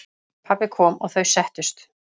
Pabbi kom og þau settust.